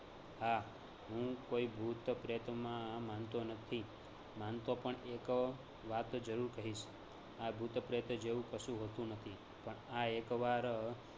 હાં હું કોઈ ભૂત પ્રેતમાં માનતો નથી માનતો પણ એક વાત જરૂર કહીશ આ ભૂત પ્રેત જેવું કશું હોતું નથી પણ આ એકવાર